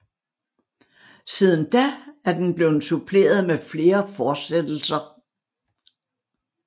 Siden da er den blevet suppleret med flere fortsættelser